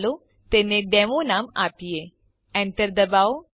ચાલો તેને ડેમો નામ આપીએ Enter ડબાઓ